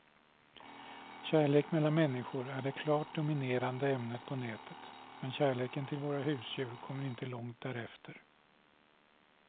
Kärlek mellan människor är det klart dominerande ämnet på nätet, men kärleken till våra husdjur kommer inte långt därefter.